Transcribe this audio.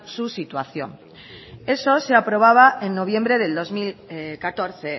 su situación eso se aprobaba en noviembre del dos mil catorce